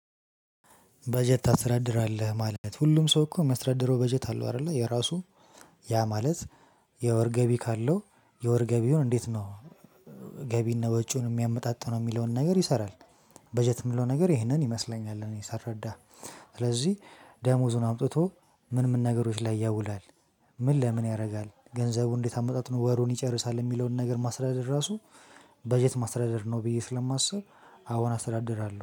በጀት ታስረድራለህ ማለት ነው ሁሉም ሰው እኮ ሚያስተዳደረው በጀት አለው አይደለ የራሱ። ያ ማለት የወር ገቢ ካለው የወር ገቢውን እንዴት ነው? ገቢ እና ወጪውን የሚያመጣጥነው የሚለውን ነገር ይሰራል። በጀት የሚለው ነገር ይህንን ይመስለኛል እኔ ሳስረዳ። ስለዚህ ደሞዙን አምጥቶ ምን ምን ነገሮች ላይ ያውላል። ምን ለምን ያደርጋል ገንዘቡ እንዴት አመጣጥኖ ወሩን ይጨርሳል? የሚለውን ነገር ማስተዳደር ራሱ በጀት ማስተዳደር ነው ብዬ ስለማስብ። አሁን አስተዳደራለሁ